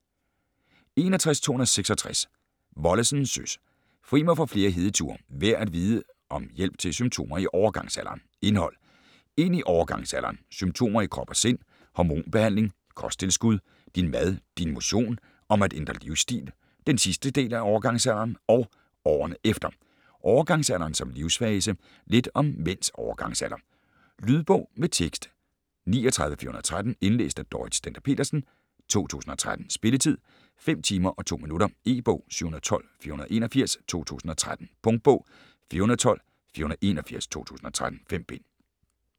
61.266 Wollesen, Søs: Fri mig for flere hedeture: værd at vide om hjælp til symptomer i overgangsalderen Indhold: Ind i overgangsalderen, Symptomer i krop og sind, Hormonbehandling, Kosttilskud, Din mad, Din motion, Om at ændre livsstil, Den sidste del af overgangsalderen og årene efter, Overgangsalderen som livssfase, Lidt om mænds overgangsalder. Lydbog med tekst 39413 Indlæst af Dorrit Stender-Petersen, 2013. Spilletid: 5 timer, 2 minutter. E-bog 712481 2013. Punktbog 412481 2013. 5 bind.